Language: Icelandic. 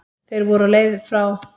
Þeir voru á leið frá